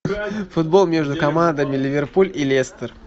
футбол между командами ливерпуль и лестер